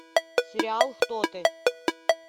сериал кто ты